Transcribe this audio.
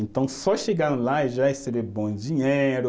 Então, só chegando lá, eu já recebi bom dinheiro.